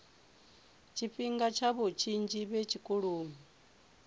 tshifhinga tshavho tshinzhi vhe tshikoloni